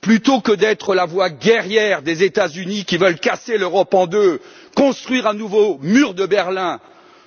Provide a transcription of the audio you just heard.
Plutôt que d'être la voix guerrière des États Unis, qui veulent casser l'Europe en deux et construire un nouveau mur de Berlin,